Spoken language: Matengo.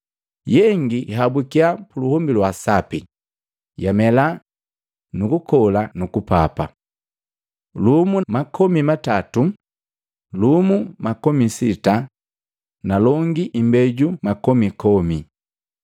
Yengi yahabukya puluhombi lwa sapi, yamela, nukukola nukupapa. Lumu makomi matatu, lumu makomi sita na longi imbeju makomi komi.”